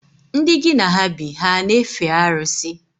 Ndị ngi na ha bi, ha ana efe arusi?